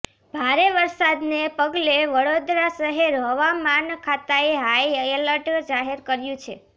ભારે વરસાદને પગલે વડોદરા શહેર હવામાન ખાતાએ હાઈ એલર્ટ જાહેર કર્યું છે